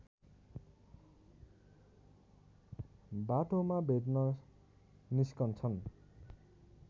बाटोमा भेट्न निस्कन्छन्